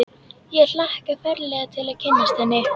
Ég hlakka ferlega til að kynnast henni.